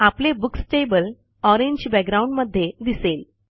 आपले books table orange background मध्ये दिसेल